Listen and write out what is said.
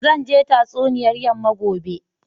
Zan je tatsuniyar yamma gobe.